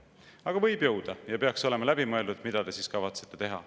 Aga võib jõuda ja peaks olema läbi mõeldud, mida te siis kavatsete teha.